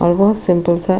और बहुत सिम्पल सा--